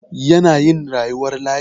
Yana yin rayuwar layi.